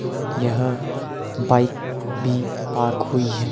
यहां बाइक भी पार्क हुई है।